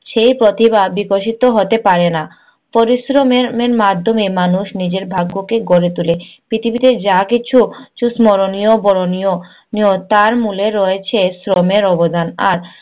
সেই পথে বা~ বিকশিত হতে পারে না। পরিশ্রমের এর মাধ্যমে মানুষ নিজের ভাগ্যকে গড়ে তোলে। পৃথিবীতে যা কিছু স্মরনীয়, বরণীয় তার মুলে রয়েছে শ্রমের অবদান। আর